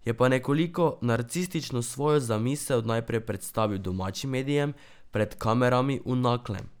Je pa nekoliko narcistično svojo zamisel najprej predstavil domačim medijem, pred kamerami v Naklem.